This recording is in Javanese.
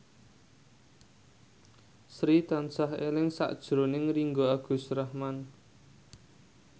Sri tansah eling sakjroning Ringgo Agus Rahman